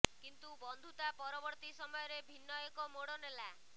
କିନ୍ତୁ ବନ୍ଧୁତା ପରବର୍ତ୍ତୀ ସମୟରେ ଭିନ୍ନ ଏକ ମୋଡ ନେଲା